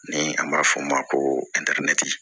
Ni an b'a f'o ma ko